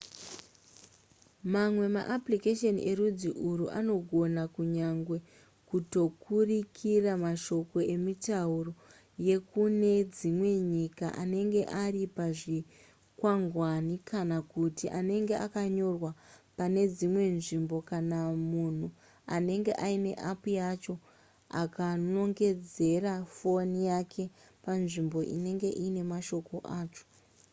mamwe maapplication erudzi urwu anogona kunyange kutoturikira mashoko emitauro yekune dzimwe nyika anenge ari pazvikwangwani kana kuti anenge akanyorwa pane dzimwe nzvimbo kana munhu anenge aine app yacho akanongedzera foni yake panzvimbo inenge iine mashoko acho